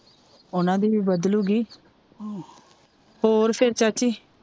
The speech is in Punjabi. ਓਹਨਾ ਦੀ ਵੀ ਬਦਲੂਗੀ ਹੋਰ ਫਿਰ ਚਾਚੀ